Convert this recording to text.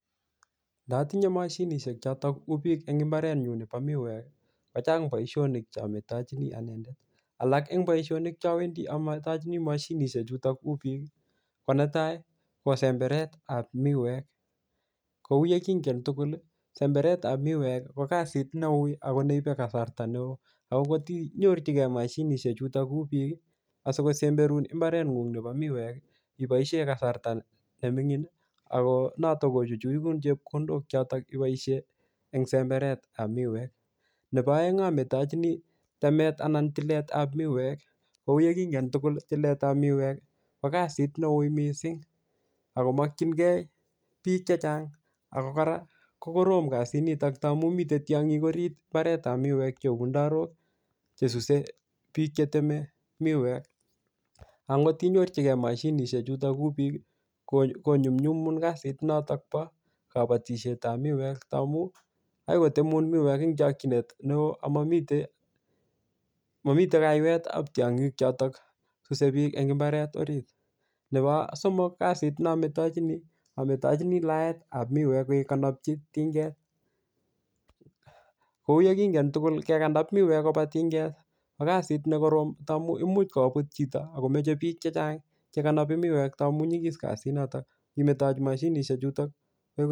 Ndatinye mashinishek chotok kou biik eng mbaret nyu nebo miwek, kochang boisonik che ametochini ananendet. Alak eng boisonik che awendi ametochini mashinieshek chutok kuu biik, ko netai, ko semberetap miwek. Kou yekingen tugul, semberetap miwek ko kasit neui ako neipe kasarta ne oo. Ako kotinyorchinkei mashinishek chutok kuu biik, asikosemberun mbaret ng'ung nebo miwek, iboisie kasarta ne mingin, ako notok kochuchunun chepkondok chotok iboisie eng semberetap miwek. Nebo aeng ametochini temet anan tiletap miwek. Kou yekingen tugul, tiletap miwek, ko kasit ne ui missing, akomakchinkey biik chechang. Ako kora, ko korom kasit nitok taamu mitei tiong'ik orit mbaretap miwek cheu ndarok chesuse biik cheteme miwek. Angotinyorchikei mashinihsek chutok kou bik, ko-konyunyumin kasit notok po kabatiseitap miwek taamu, akoi kotemun miwek eng chakchinet neoo amamite, mamite kaiwetap tong'ik chotok suse biik eng mbaret orit. Nebo somok, kasit ne ametochini, ametochini laetap miwek kekanapchi tinget. Kou yekingen tugul, kekanap miwek kopa tinget ko kasit ne korom taamu imuch kobut chito akomeche biik chechang chekanapi miwek taamu nyikis kasit notok. Kemetochi mashinishek chutok